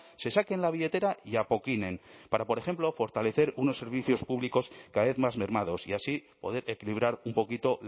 se saquen la billetera y apoquinen para por ejemplo fortalecer unos servicios públicos cada vez más mermados y así poder equilibrar un poquito